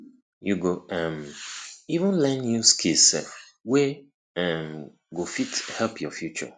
yu go um even learn new skill sef wey um go fit help yur future